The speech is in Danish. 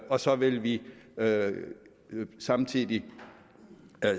og så vil vi samtidig